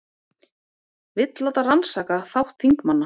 Vill láta rannsaka þátt þingmanna